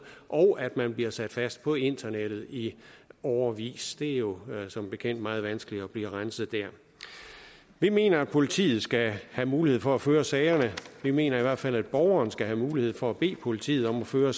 og at man bliver sat fast på internettet i årevis det er jo som bekendt meget vanskeligt at blive renset der vi mener at politiet skal have mulighed for at føre sagerne vi mener i hvert fald at borgeren skal have mulighed for at bede politiet om at føre